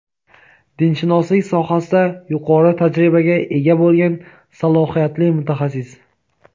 dinshunoslik sohasida yuqori tajribaga ega bo‘lgan salohiyatli mutaxassis.